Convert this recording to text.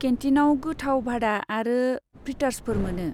केन्टिनाव गोथाव भादा आरो फ्रिटार्सफोर मोनो।